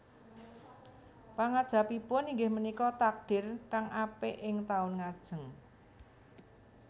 Pangangajabipun inggih punika takdir kang apik ing taun ngajeng